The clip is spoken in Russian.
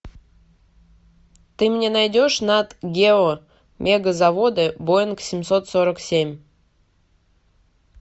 ты мне найдешь нат гео мегазаводы боинг семьсот сорок семь